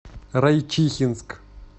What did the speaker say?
райчихинск